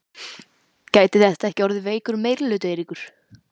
Gæti þetta ekki orðið veikur meirihluti, Eiríkur?